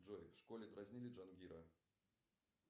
джой в школе дразнили джангира